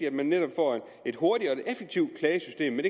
at vi netop får et hurtigt og et effektivt klagesystem men